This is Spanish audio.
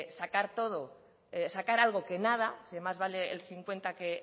sacar algo que nada más vale el cincuenta que